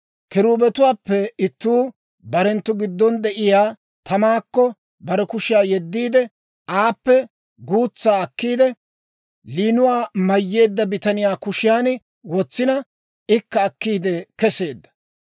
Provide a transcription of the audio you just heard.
Kiruubetuwaappe ittuu barenttu giddon de'iyaa tamaakko bare kushiyaa yeddiide, aappe guutsaa akkiide, layinuwaa mayyeedda bitaniyaa kushiyan wotsina, ikka akkiide keseedda.